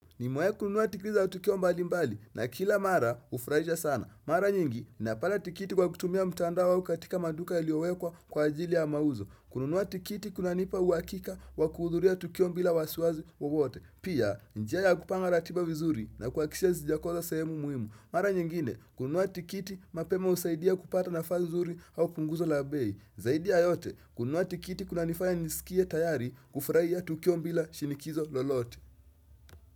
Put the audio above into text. Nimewahi kununua tikiti za tukio mbali mbali na kila mara hufurahisha sana. Mara nyingi ninapata tikiti kwa kutumia mtandao au katika maduka yaliyowekwa kwa ajili ya mauzo. Kununua tikiti kunanipa uhakika wa kuhudhuria tukio bila wasiwasi wawote. Pia, ni njia ya kupanga ratiba vizuri na kuhakikisha sijakosa sehemu muhimu. Mara nyingine, kununua tikiti mapema husaidia kupata nafasi nzuri au punguzo la bei. Zaidi ya yote, kununua tikiti kunanifaya niskie tayari kufurahia tukio bila shinikizo lolote.